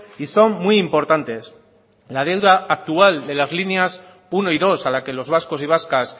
y son muy importantes la deuda actual de las líneas uno y dos a la que los vascos y vascas